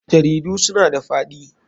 Jaridu suna da faɗi.